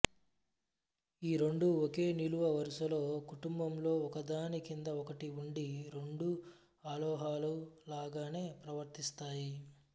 ఈ రెండూ ఒకే నిలువు వరసలో కుటుంబంలో ఒకదాని కింద ఒకటి ఉండి రెండూ అలోహాలు లాగనే ప్రవర్తిస్తాయి